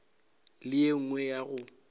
le ye nngwe ya go